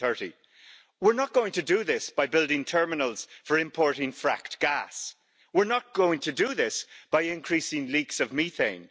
2030. We're not going to do this by building terminals for importing fracked gas. We're not going to do this by increasing leaks of methane.